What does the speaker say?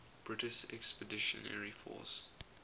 british expeditionary force